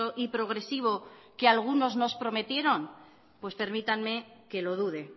y progresivo que a algunos nos prometieron pues permítanme que lo dude